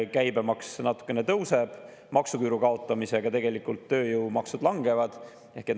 Käibemaks natukene tõuseb, maksuküüru kaotamisega tegelikult tööjõumaksud langevad.